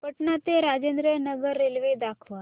पटणा ते राजेंद्र नगर रेल्वे दाखवा